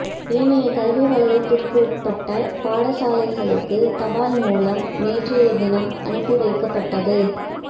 ஏனைய கல்வி வலயத்திற்குட்பட்ட பாடசாலைகளுக்குத் தபால் மூலம் நேற்றைய தினம் அனுப்பிவைக்கப்பட்டது